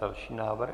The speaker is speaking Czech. Další návrh.